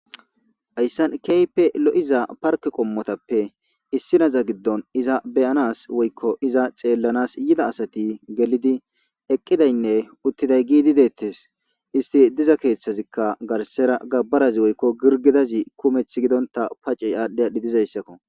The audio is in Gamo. Hayssan kehipe lo'iza parketa qomoy issinaza gidon iza beyanas woyko iza xellanas yida asati gellidi eqidayne uttiday gidi de'etes issti diza kethazi ka garsera gabarazi woyko girgidazi kumethi gidonta pacce adhi adhi dizaysako